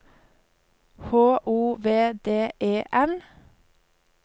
H O V D E N